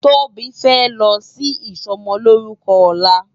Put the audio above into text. Tobi fè lò si isòmòlórùkò òlá